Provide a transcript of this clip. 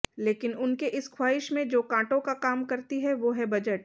लेकिन उनके इस ख्वाहिश में जो कांटों का काम करती है वो है बजट